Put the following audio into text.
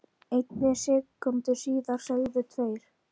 einni sekúndu síðar segðu tveir